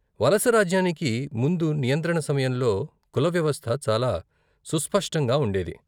వలసరాజ్యానికి ముందు నియంత్రణ సమయంలో కుల వ్యవస్థ చాలా సుస్పష్టంగా ఉండేది.